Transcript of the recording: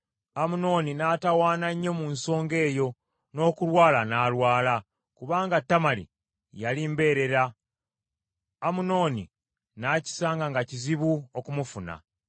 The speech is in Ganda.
Amunoni n’atawaana nnyo mu nsonga eyo n’okulwala n’alwala, kubanga Tamali yali mbeerera , Amunoni n’akisanga nga kizibu okumufuna.